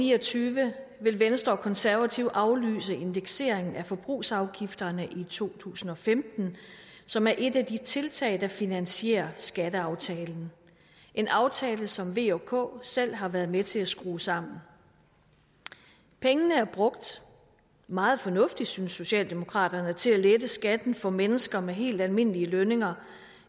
ni og tyve vil venstre og konservative aflyse indekseringen af forbrugsafgifterne i to tusind og femten som er et af de tiltag der finansierer skatteaftalen en aftale som v og k selv har været med til at skrue sammen pengene er brugt meget fornuftigt synes socialdemokraterne til at lette skatten for mennesker med helt almindelige lønninger